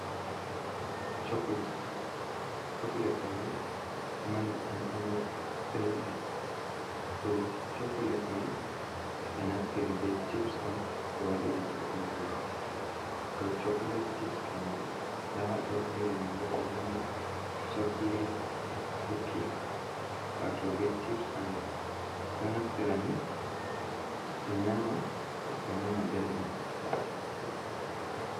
Shakulet! Shakulet ɗo ni, ɗo mari ɗanɗano belɗum. Ɗo shakulet mai, ɓe naftiri bee chips on ɓe waɗiri shakulet mai. Ɗo shakulet chips kenan, nda haɗɗo haa leeda mai bo, ɓe ɗo vindi shakulet kukis, waato bee chips haa nder. Ɓe ɗo naftira ni, ɓe nƴama goɗɗo nana belɗum.